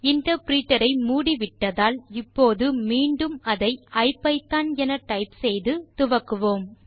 interpreter ஐ மூடிவிட்டதால் இப்போது மீண்டும் அதை ஐபிதான் என டைப் செய்து துவக்குவோம்